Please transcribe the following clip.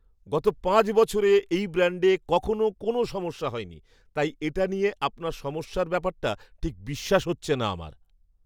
গত পাঁচ বছরে এই ব্র্যাণ্ডে কখনও কোনও সমস্যা হয়নি, তাই এটা নিয়ে আপনার সমস্যার ব্যাপারটা ঠিক বিশ্বাস হচ্ছে না আমার!